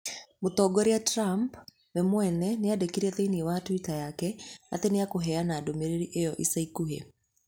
Mũtongoria Trump we mwene nĩandĩkire thĩinĩ wa twitter yake atĩ nĩ ekũheana ndũmĩrĩri ĩyo ica ikuhĩ.